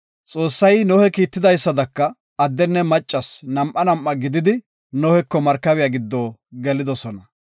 Xoossay Nohe kiitidaysada addenne maccas nam7a nam7a gididi, Noheko markabiya giddo gelidosona.